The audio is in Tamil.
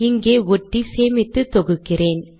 இங்கே ஒட்டி சேமித்து தொகுக்கிறேன்